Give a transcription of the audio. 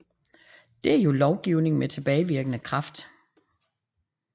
Det er jo lovgivning med tilbagevirkende kraft